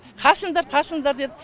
қашыңдар қашыңдар деді